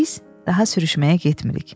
Biz daha sürüşməyə getmirik.